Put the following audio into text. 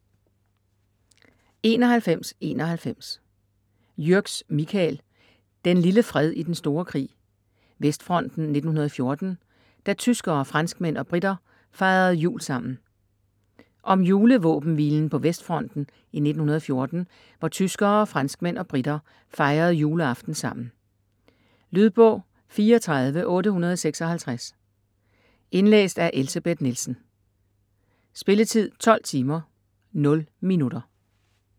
91.91 Jürgs, Michael: Den lille fred i den store krig: Vestfronten 1914 - da tyskere, franskmænd og briter fejrede jul sammen Om julevåbenhvilen på Vestfronten i 1914 hvor tyskere, franskmænd og briter fejrede juleaften sammen. Lydbog 34856 Indlæst af Elsebeth Nielsen Spilletid: 12 timer, 0 minutter.